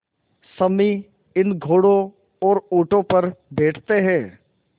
सम्मी इन घोड़ों और ऊँटों पर बैठते हैं